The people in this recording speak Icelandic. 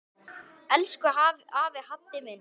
Elsku afi Haddi minn.